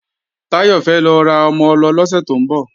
Táyọ̀ fẹ́ lọ ra ọmọ-ọlọ lọ́sẹ̀ tó ń bọ̀